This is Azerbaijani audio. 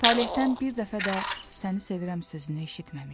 Talehdən bir dəfə də səni sevirəm sözünü eşitməmişdi.